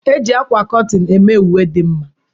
E ji akwa kọtin eme uwe dị mma.